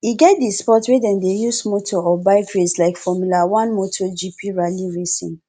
e get di sport wey dem de use motor or bike race like formula 1 motor gp rally racing etc